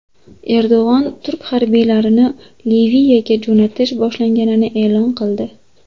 Erdo‘g‘on turk harbiylarini Liviyaga jo‘natish boshlanganini e’lon qildi.